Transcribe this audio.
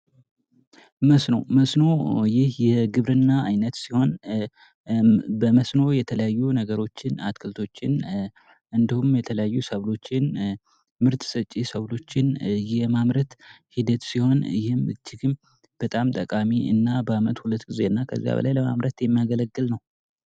መስኖ ይህ አንዱ የግብርና አይነት ሲሆን በመስኖ የተለያዩ አትክልቶችን እንዲሁም ምርት ሰጭ ሰብሎችን የማምረት ሂደት ነው።